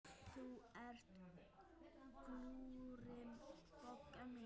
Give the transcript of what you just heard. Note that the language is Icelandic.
Þú ert glúrin, Bogga mín.